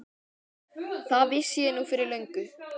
Það vissi ég nú fyrir löngu.